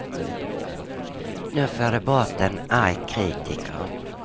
Nu får de bort en arg kritiker.